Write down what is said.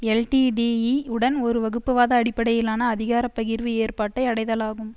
எல்டிடிஇஉடன் ஒரு வகுப்புவாத அடிப்படையிலான அதிகாரப்பகிர்வு ஏற்பாட்டை அடைதலாகும்